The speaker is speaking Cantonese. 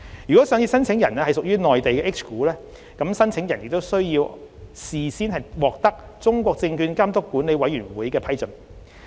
如上市申請人屬內地 H 股，申請人亦須先獲得中國證券監督管理委員會的批准。